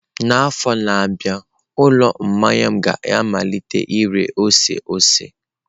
N'afọ na-abịa, ụlọ mmanya m ga-amalite ire ose ose.